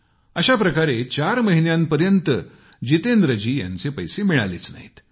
अशाप्रकारे चार महिन्यांपर्यंत जितेंद्रजी यांचे पैसे मिळालेच नाहीत